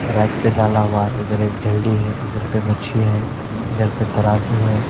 Right पर तालाब आरी इधर एक झलि है इधर पर मछी है इधर पर तराज़ू है।